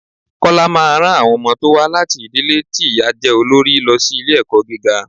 Kọ́lá máa ran àwọn ọmọ tó wá láti ìdílé ti ìyá jẹ́ olorí lọ sí ilé ẹ̀kọ́ gíga.